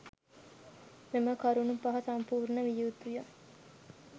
මෙම කරුණු පහ සම්පූර්ණ විය යුතුය.